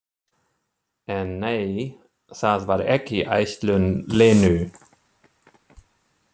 En nei, það var ekki ætlun Lenu.